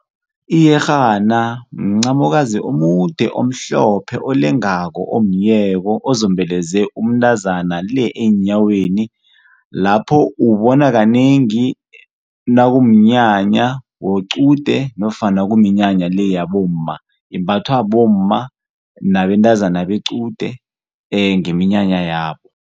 Iyerhana mncamokazi omude omhlophe olengako omyeko ozombeleze umntazana le eenyaweni lapho uwubona kanengi nakumnyanya wequde nofana kuminyanya le yabomma. Imbathwa bomma nabentazana bequde ngeminyanya yabo.